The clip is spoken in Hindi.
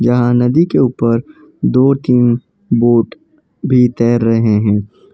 यहां नदी के ऊपर दो तीन बोट भी तैर रहे हैं।